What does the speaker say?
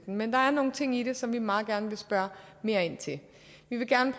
men der er nogle ting i det som vi meget gerne vil spørge mere ind til vi vil gerne